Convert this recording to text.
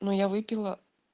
ну я выпила